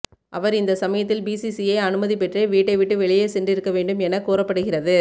அவர் இந்த சமயத்தில் பிசிசிஐ அனுமதி பெற்றே வீட்டை விட்டு வெளியே சென்று இருக்க வேண்டும் என கூறப்படுகிறது